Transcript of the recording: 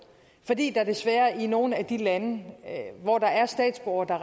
fordi der desværre i nogle af de lande hvor der er statsborgere der